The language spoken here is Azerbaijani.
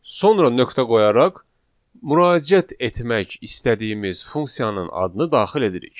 Sonra nöqtə qoyaraq müraciət etmək istədiyimiz funksiyanın adını daxil edirik.